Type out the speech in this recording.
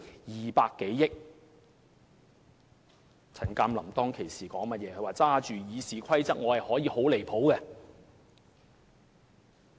前議員陳鑑林當時說自己手執《議事規則》便可以很離譜。